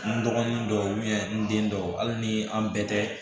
N dɔgɔnin dɔw n den dɔw hali ni an bɛɛ tɛ